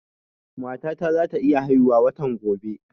Mata ta za ta iya haihu watan gobe